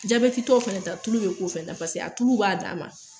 Jabɛtitɔ fana ta tulu bɛ k'o fɛnɛ da paseke a tulu b'a dan ma.